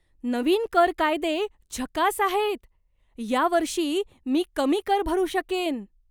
नवीन कर कायदे झकास आहेत! या वर्षी मी कमी कर भरू शकेन!